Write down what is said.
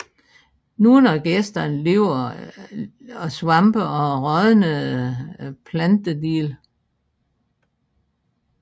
Nogle af gæsterne lever af svampe og rådnende plantedele